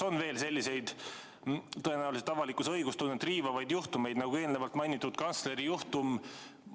Kas on veel selliseid tõenäoliselt avalikkuse õiglustunnet riivavaid juhtumeid, nagu eelnevalt mainitud kantsleri juhtum?